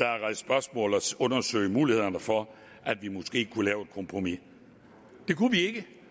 og undersøge mulighederne for at vi måske kunne lave et kompromis det kunne vi